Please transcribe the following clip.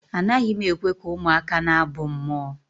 Anaghị m ekwe ka ụmụaka na-abụ mmụọ